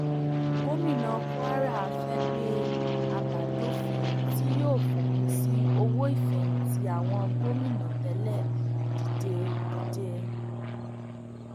gomina kwara fee gbé àbádòfin tí yóò fòpin sí owó ìfẹyìntì àwọn gómìnà tẹlẹ dìde dìde